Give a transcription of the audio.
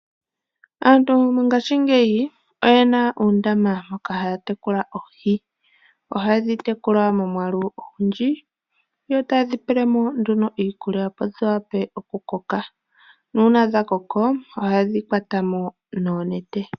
Aantu mongashingeyi oyena uundama moka haya tekula oohi, ohaye dhi tekula momwalu ogundji yo taye dhipelemo nduno iikulya opo dhi vule oku koka nuna dhakoko ohaye dhi kwatamo nonete.